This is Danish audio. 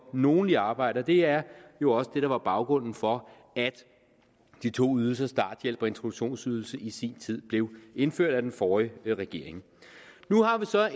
nogle i arbejde og det er jo også det der var baggrunden for at de to ydelser starthjælp og introduktionsydelse i sin tid blev indført af den forrige regering nu er der så